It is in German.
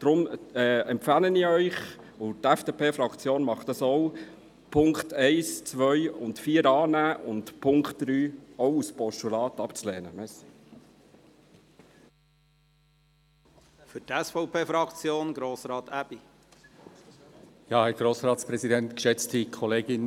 Deshalb empfehle ich Ihnen, und die FDP-Fraktion tut dies ebenfalls, die Punkte 1, 2 und 4 anzunehmen und den Punkt 3 auch als Postulat abzulehnen.